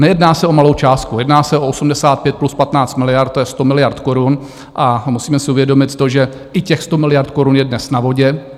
Nejedná se o malou částku, jedná se o 85 plus 15 miliard, to je 100 miliard korun, a musíme si uvědomit to, že i těch 100 miliard korun je dnes na vodě.